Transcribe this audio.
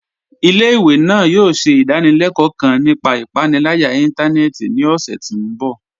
Ilẹ̀-ìwé náà yòò ṣẹ̀ idàníléló̩kò̩ kán nípà ìpànìlàyà ìntànẹ̀ẹ̀tì ní ọṣẹ̀ ti mbọ̀.